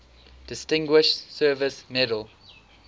distinguished service medal